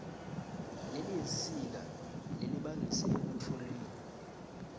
leyinsika lelibangise ekutfolweni